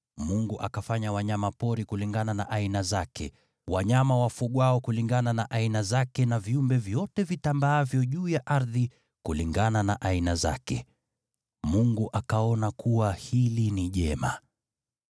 Mungu akafanya wanyama pori kulingana na aina zake, wanyama wa kufugwa kulingana na aina zake, na viumbe vyote vitambaavyo juu ya ardhi kulingana na aina zake. Mungu akaona kuwa hili ni jema.